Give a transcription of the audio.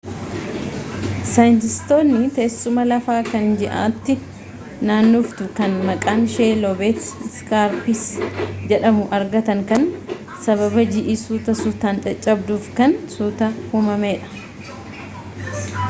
saayintiistootni teessumaa lafa kan ji'aatti naannoftuu kan maqaanshee loobeet iskaarpis jedhamu argatan kan sababa ji'i suuta suutaan caccabduuf kan suuta uumamee dha